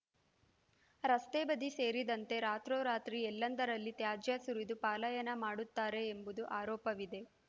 ರಸ್ತೆ ಬದಿ ಸೇರಿದಂತೆ ರಾತ್ರೋರಾತ್ರಿ ಎಲ್ಲೆಂದರಲ್ಲಿ ತ್ಯಾಜ್ಯ ಸುರಿದು ಪಲಾಯನ ಮಾಡುತ್ತಾರೆ ಎಂಬುದು ಆರೋಪವಿದೆ